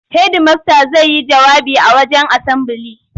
Hedimasta zai yi jawabi a wajen asambili.